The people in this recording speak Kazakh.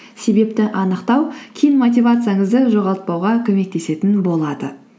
себепті анықтау кейін мотивацияңызды жоғалтпауға көмектесетін болады